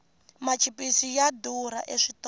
machipisi ya durha eswitolo